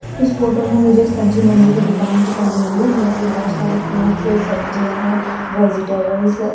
इस फोटो में मुझे एक सब्जी मंडी की दुकान दिखाई दे रही है जहां पे बहोत सारे फ्रूट्स सब्जियां है वेजिटेबल्स हैं।